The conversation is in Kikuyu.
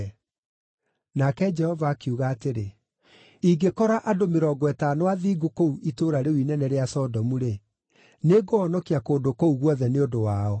Nake Jehova akiuga atĩrĩ, “Ingĩkora andũ mĩrongo ĩtano athingu kũu itũũra rĩu inene rĩa Sodomu-rĩ, nĩngũhonokia kũndũ kũu guothe nĩ ũndũ wao.”